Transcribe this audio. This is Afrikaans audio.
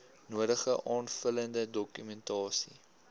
nodige aanvullende dokumentasie